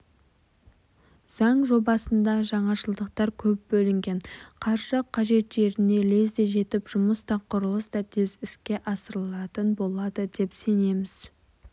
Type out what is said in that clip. заң жобасында жаңашылдықтар көп бөлінген қаржы қажет жеріне лезде жетіп жұмыс та құрылыс та тез іске асырылатын болады деп сенеміз